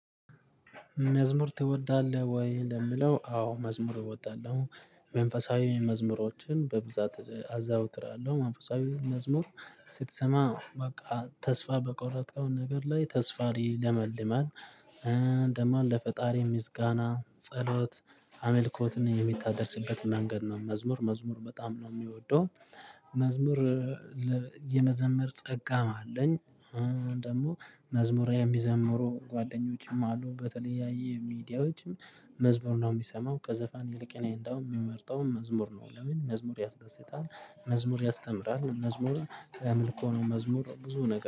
መዝሙር ትወዳለህ ወይ? ለሚለው አዎ መዝሙር እወዳለሁ። መንፈሳዊ መዝሙሮችን በብዛት አዘወትራለሁ መንፈሳዊ መዝሙር ስትሰማ በቃ ተስፋ በቆረጥክው ነገር ላይ ተስፋ ይለመልማል። ደግሞ ለፈጣሪ ምስጋና ጸሎት አምልኮትን እምታደርስበት መንገድ ነው። መዝሙር መዝሙር በጣም ነው እምወደው። መዝሙር የመዘመር ጸጋም አለኝ። ደግሞ መዝሙር የሚዘምሩ ጓደኞችም አሉ በተለያዩ ሚዲያዎች መዝሙር ነው እምሰማው። ከዘፈን ይልቅ እኔ እንድያውም የምመርጠው መዝሙር ነው። ለምን መዝሙር ያስደስታል። መዝሙር ያስተምራል መዝሙር የአምልኮ ነው። መዝሙር ብዙ ነገር